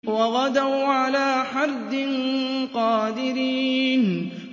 وَغَدَوْا عَلَىٰ حَرْدٍ قَادِرِينَ